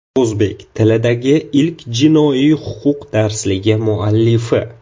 O‘zbek tilidagi ilk jinoiy huquq darsligi muallifi.